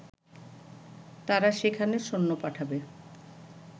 তারা সেখানে সৈন্য পাঠাবে